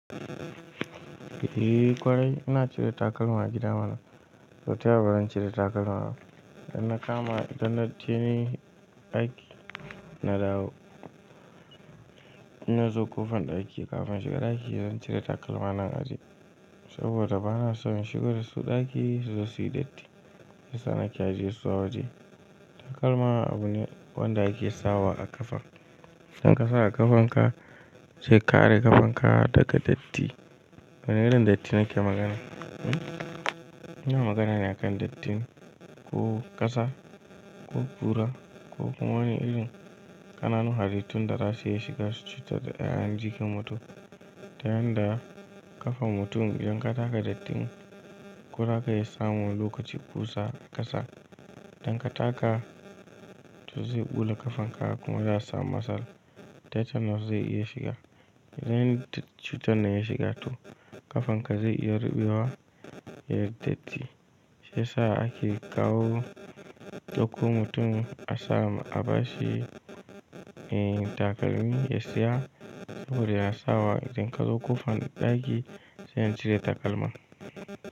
Eh ƙwarai, ina cire takalma a gida mana. So taya ba zan cire takalma ba. Idan na kama, idan na je ni aiki, na dawo. In na zo ƙofan ɗaki kafin in shiga ɗaki zan cire takalma na in aje. Saboda bana so in shigo da su ɗaki su zo suyi datti. Shiya sa nake aje su a waje. Takalma abu ne wanda ake sawa a ƙafa. Idan ka sa a ƙafanka zai kare ƙafanka daga datti. Wane irin datti nake magana? Ina magana ne a kan datti, ko ƙasa, ko ɓura ko wani irin ƙananu harittun da za su iya shiga su cutar da ƴaƴan jikin mutum. Ta yanda ƙafan mutum idan ka taka datti, ko raka iya samun wani lokaci kusa ƙasa, idan ka taka to zai ɓula ƙafanka kuma za a samu matsala. Tetanus zai iya shiga. Idan cutar na ya shiga to ƙafanka zai iya ruɓewa. Yai datti shi ya sa ake kawo dauko mutum a sama a bashi. Eh takalmi ya siya saboda ya sawa idan ka zo ƙofan ɗaki sai in cire takalma.